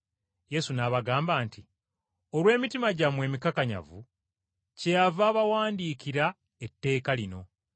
Yesu n’abagamba nti, “Olw’obukakanyavu bw’emitima gyammwe, kyeyava abawandiikira etteeka lino.